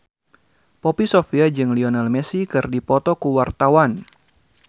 Poppy Sovia jeung Lionel Messi keur dipoto ku wartawan